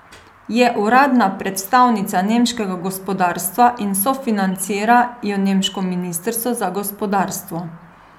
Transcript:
Je uradna predstavnica nemškega gospodarstva in sofinancira jo nemško ministrstvo za gospodarstvo.